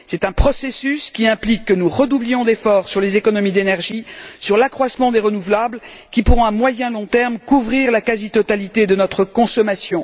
C'est un processus qui implique que nous redoublions d'efforts sur les économies d'énergie, sur l'accroissement des renouvelables, qui pourront à moyen et à long terme couvrir la quasi totalité de notre consommation.